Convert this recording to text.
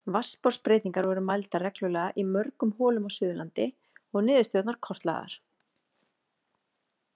Vatnsborðsbreytingar voru mældar reglulega í mörgum holum á Suðurlandi og niðurstöðurnar kortlagðar.